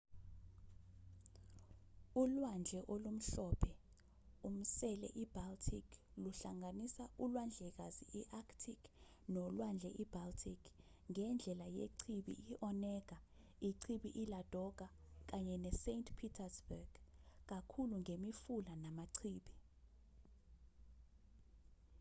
ulwandle olumhlophe-umsele i-baltic luhlanganisa ulwandlekazi i-arctic nolwandle i-baltic ngendlela yechibi i-onega ichibi i-ladoga kanye ne-saint petersburg kakhulu ngemifula namachibi